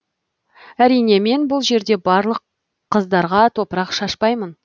әрине мен бұл жерде барлық қыздарға топырақ шашпаймын